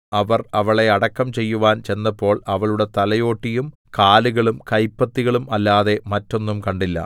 അവർ അവളെ അടക്കം ചെയ്യുവാൻ ചെന്നപ്പോൾ അവളുടെ തലയോട്ടിയും കാലുകളും കൈപ്പത്തികളും അല്ലാതെ മറ്റൊന്നും കണ്ടില്ല